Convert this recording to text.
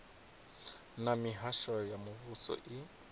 na mihasho ya muvhuso i